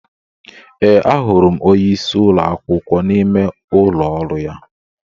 Ee, a hụrụ m onyeisi ụlọ akwụkwọ n'ime ụlọ ọrụ ya